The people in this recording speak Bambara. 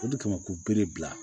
O de kama k'u be de bila